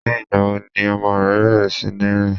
Ní ìgbà wo ni ọmọ rẹ bẹ̀rẹ̀ sí ní rìn?